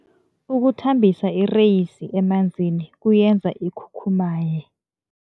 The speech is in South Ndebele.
Ukuthambisa ireyisi emanzini kuyenza ikhukhumaye.